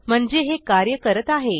म्हणजे हे कार्य करत आहे